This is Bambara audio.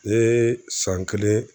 Ee san kelen